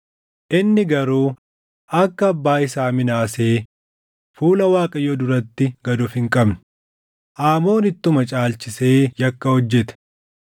Inni garuu akka abbaa isaa Minaasee fuula Waaqayyoo duratti gad of hin qabne; Aamoon ittuma caalchisee yakka hojjete.